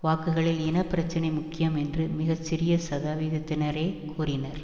வாக்குகளில் இன பிரச்சினை முக்கியம் என்று மிக சிறய சதவீதத்தினரே கூறினர்